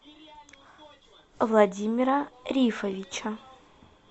владимира рифовича